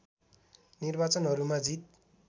निर्वाचनहरूमा जित